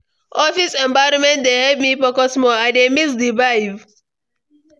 Office environment dey help me focus more; I dey miss the vibe.